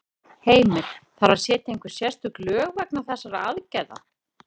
Heimir: Þarf að setja einhver sérstök lög vegna þessarar aðgerðar?